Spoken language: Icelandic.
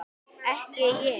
Ekki ég.